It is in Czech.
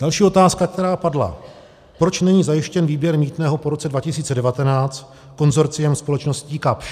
Další otázka, která padla: Proč není zajištěn výběr mýtného po roce 2019 konsorciem společností Kapsch?